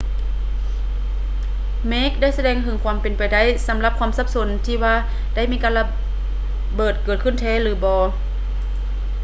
ເມກໄດ້ສະແດງເຖິງຄວາມເປັນໄປໄດ້ສຳລັບຄວາມສັບສົນທີ່ວ່າໄດ້ມີການລະເບີດເກີດຂຶ້ນແທ້ ຫຼື ບໍ່